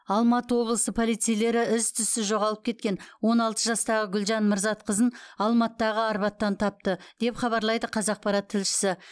алматы облысы полицейлері із түзсіз жоғалып кеткен он алты жастағы гүлжан мырзатқызын алматыдағы арбаттан тапты деп хабарлайды қазақпарат тілшісі